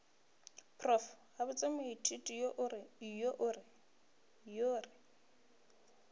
prof gabotse moithuti yo re